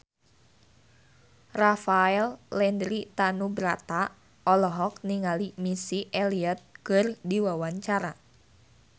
Rafael Landry Tanubrata olohok ningali Missy Elliott keur diwawancara